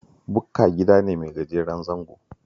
Bukka gida ne mai gajeren zango